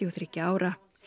og þriggja ára